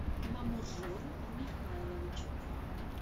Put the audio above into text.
мамуржон михайлович